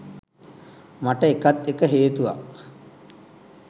මට ඒකත් එක හේතුවක්.